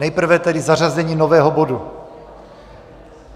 Nejprve tedy zařazení nového bodu.